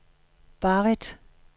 Barrit